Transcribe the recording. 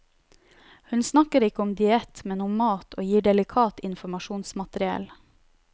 Hun snakker ikke om diett, men om mat og gir delikat informasjonsmateriell.